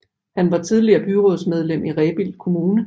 Han har tidligere været byrådsmedlem i Rebild Kommune